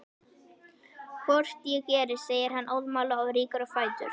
Hvort ég geri, segir hann óðamála og rýkur á fætur.